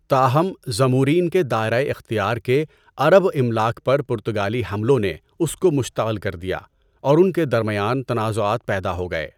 تاہم، زمورین کے دائرہ اختیار کے عرب املاک پر پرتگالی حملوں نے اس کو مشتعل کر دیا اور ان کے درمیان تنازعات پیدا ہو گئے۔